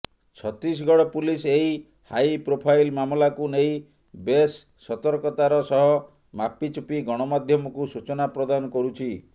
Chhattisgarh police ଏହି ହାଇପ୍ରୋଫାଇଲ ମାମଲାକୁ ନେଇ ବେଶ ସତର୍କତାର ସହ ମାପିଚୁପି ଗଣମାଧ୍ୟମକୁ ସୂଚନା ପ୍ରଦାନ କରୁଛି